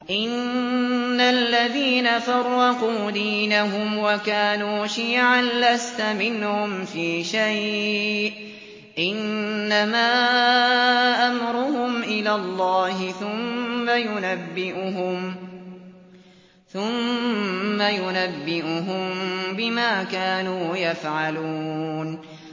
إِنَّ الَّذِينَ فَرَّقُوا دِينَهُمْ وَكَانُوا شِيَعًا لَّسْتَ مِنْهُمْ فِي شَيْءٍ ۚ إِنَّمَا أَمْرُهُمْ إِلَى اللَّهِ ثُمَّ يُنَبِّئُهُم بِمَا كَانُوا يَفْعَلُونَ